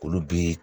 Olu bi